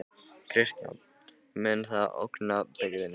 Kristján: Mun það ógna byggðinni?